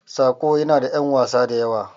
"Saƙo" yana da ƴan wasa da yawa.